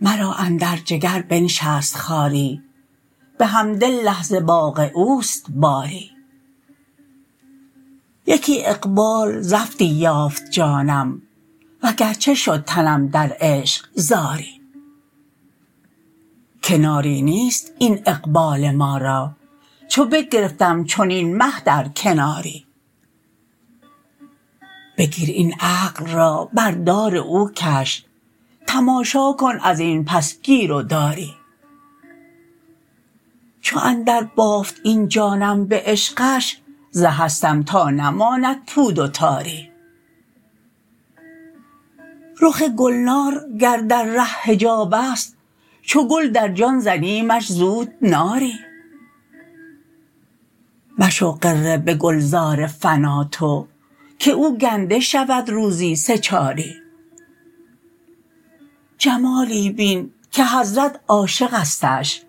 مرا اندر جگر بنشست خاری بحمدالله ز باغ او است باری یکی اقبال زفتی یافت جانم وگرچه شد تنم در عشق زاری کناری نیست این اقبال ما را چو بگرفتم چنین مه در کناری بگیر این عقل را بر دار او کش تماشا کن از این پس گیر و داری چو اندربافت این جانم به عشقش ز هستم تا نماند پود و تاری رخ گلنار گر در ره حجاب است چو گل در جان زنیمش زود ناری مشو غره به گلزار فنا تو که او گنده شود روزی سه چاری جمالی بین که حضرت عاشقستش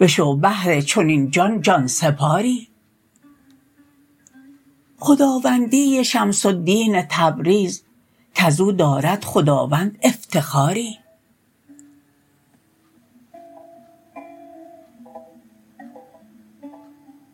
بشو بهر چنین جان جان سپاری خداوندی شمس الدین تبریز کز او دارد خداوند افتخاری